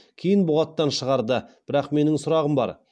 кейін бұғаттан шығарды бірақ менің сұрағым бар